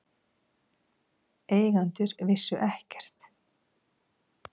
Eigendur vissu ekkert